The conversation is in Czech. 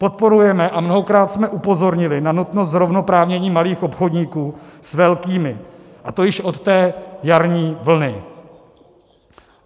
Podporujeme a mnohokrát jsme upozornili na nutnost zrovnoprávnění malých obchodníků s velkými, a to již od té jarní vlny.